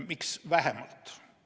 Miks vähemalt?